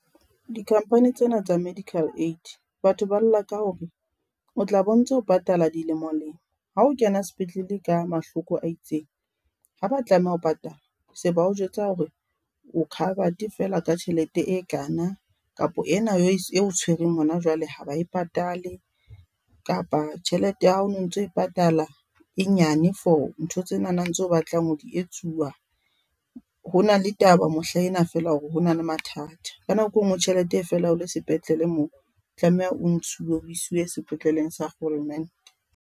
Di-company tsena tsa medical aid, batho ba lla ka hore o tla be o ntse o patala dilemolemo, ha o kena sepetlele ka mahloko a itseng, haba tlameha ho patala se bao jwetsa hore o covered feela ka tjhelete e kana, kapa ena e o tshwereng hona jwale ha ba e patale kapa tjhelete ya hao o no ntse o e patala e nyane for ntho tsenana, tseo o batlang ho di etsuwa. Ho na le taba mohlaena feela hore ho na le mathata ka nako e nngwe tjhelete e fela o le sepetlele moo, o tlameha o ntshuwe o iswe sepetleleng sa kgolomente.